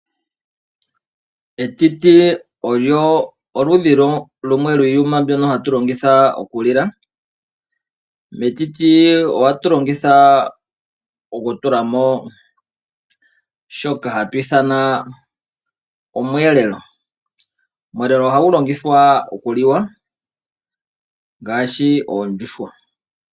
Etiti olyo oludhi lumwe lwiiyuma mbyono hatu longitha okulila. Metiti ohatu longitha okutulamo shoka hagu ithana omweelelo. Omweelelo ohagu longithwa okuliwa ngaashi oondjuhwa.